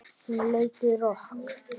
Hún leikur rokk.